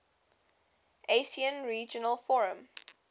asean regional forum